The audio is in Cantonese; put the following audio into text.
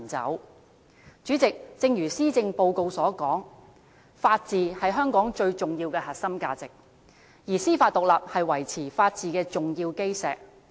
代理主席，正如施政報告所說，法治是香港最重要的核心價值，而司法獨立是維持法治的重要基石。